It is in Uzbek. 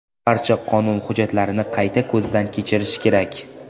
Barcha qonun hujjatlarini qayta ko‘zdan kechirish kerak.